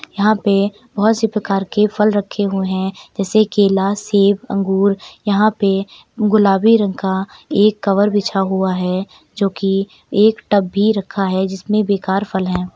यहां पे बहुत से प्रकार के फल रखे हुए हैं जैसे कि लाल सेब अंगूर यहां पे गुलाबी रंग का एक कवर बिछा हुआ है जोकि एक टब भी रखा है जिसमें बेकार फल है।